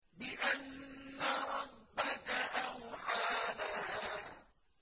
بِأَنَّ رَبَّكَ أَوْحَىٰ لَهَا